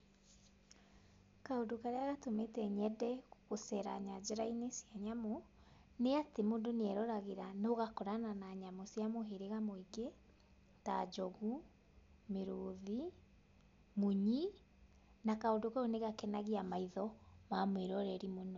Kaũndũ karĩa gatũmĩte nyende gũceera nyanjara-inĩ cia nyamũ nĩ atĩ mũndũ nĩ eroragĩra na ũgakorana na nyamũ cia mũhĩrĩga mũingĩ ta njogu, mĩrũthi, munyi na kaũndũ kau nĩ gakenagia maitho ma mwĩroreri mũno.